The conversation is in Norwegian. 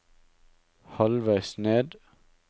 halvveis ned